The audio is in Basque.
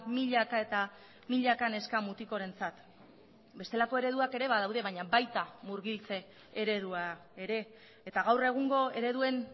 milaka eta milaka neska mutikorentzat bestelako ereduak ere badaude baina baita murgiltze eredua ere eta gaur egungo ereduen